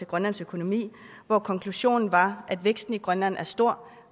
grønlands økonomi hvor konklusionen var at væksten i grønland er stor